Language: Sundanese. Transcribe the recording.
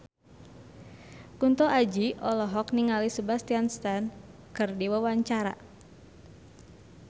Kunto Aji olohok ningali Sebastian Stan keur diwawancara